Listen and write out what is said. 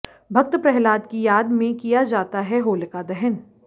भक्त प्रहलाद की याद में किया जाता है होलिका दहन